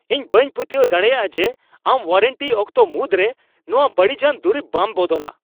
ᱤᱧ ᱵᱟᱹᱧ ᱯᱟᱹᱛᱭᱟᱹᱣ ᱫᱟᱲᱮᱭᱟᱜᱼᱟ ᱡᱮ ᱟᱢ ᱳᱣᱟᱨᱮᱱᱴᱤ ᱚᱠᱛᱚ ᱢᱩᱫᱽ ᱨᱮ ᱱᱚᱶᱟ ᱵᱟᱹᱲᱤᱡᱟᱱ ᱫᱩᱨᱤᱵ ᱵᱟᱢ ᱵᱚᱫᱚᱞᱟ ᱾